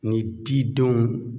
Ni didenw